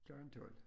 Klokken 12